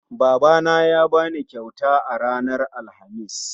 Babana ya bani kyauta ranar Alhamis